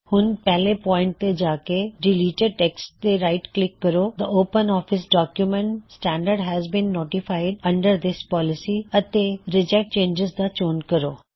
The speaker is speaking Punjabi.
ਹੁਣ ਪਹਿਲੇ ਪੌਇਨਟ ਤੇ ਜਾ ਕੇ ਡਿਲੀਟਿਡ ਟੈੱਕਸਟ ਤੇ ਰਾਇਟ ਕਲਿੱਕ ਕਰੋ the open office document standard has been notified under this policy ਅਤੇ ਰਿਜੈਕਟ ਚੇਨਜਿਜ਼ ਦਾ ਚੋਣ ਕਰੋ